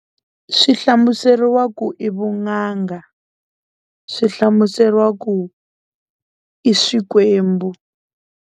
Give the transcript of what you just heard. Swi hlamuseriwa ku i vun'anga swi hlamuseriwa ku i swikwembu.